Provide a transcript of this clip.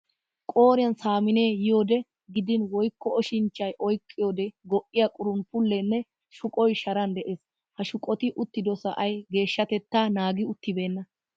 Qooriyan samminnee yiyode gidin woykko oshinchchay oyqqiyioode go''iya qurunppullee nne shuqoy sharan de'es. Ha shuqoti uttido sa'ay geeshshatettaa naagi uttibeenna.